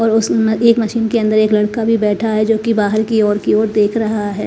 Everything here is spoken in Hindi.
और उस एक मशीन के अंदर एक लड़का भी बैठा है जो कि बाहर की ओर की ओर देख रहा है।